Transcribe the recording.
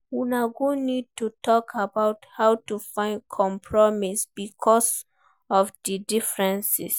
Una go need to talk about how to fit compromise because of di differences